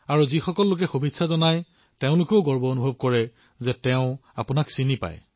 যিবোৰ মানুহে আপোনাক অভিনন্দন জনায় তেওঁলোকেও গৰ্ববোধ কৰে যে তেওঁলোক আপোনাৰ পৰিচিত